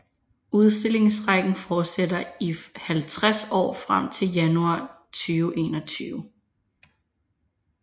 Udstillingsrækken fortsætter i 50 år frem til januar 2021